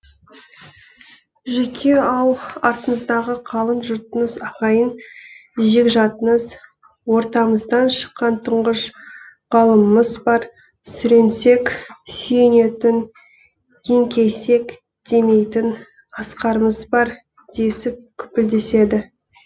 жүке ау артыңыздағы қалың жұртыңыз ағайын жекжатыңыз ортамыздан шыққан тұңғыш ғалымымыз бар сүрінсек сүйенетін еңкейсек демейтін асқарымыз бар десіп күпілдеседі